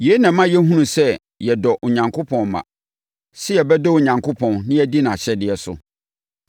Yei na ɛma yɛhunu sɛ yɛdɔ Onyankopɔn mma; sɛ yɛbɛdɔ Onyankopɔn na yɛadi nʼahyɛdeɛ so.